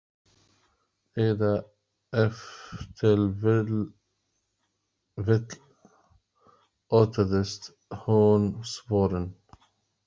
Eða ef til vill óttaðist hún svörin.